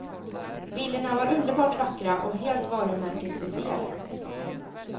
Bilderna var underbart vackra och helt varumärkesbefriade.